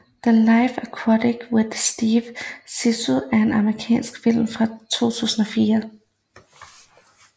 The Life Aquatic with Steve Zissou er en amerikansk film fra 2004